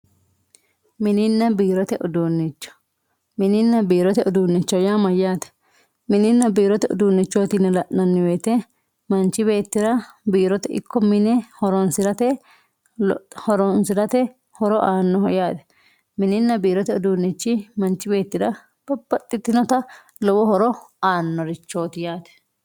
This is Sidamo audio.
mininna biirote uduunnicho mininna biirote uduunnicho yaa mayyaate mininna biirote uduunnichooti yine la'nanni woyiite manchi beettira biirote ikko mine horoonsirate horo aannoho yaate mininna biirote uduunnichi manchi beettira babbaxxitinota lowo horo aannorichooti yaate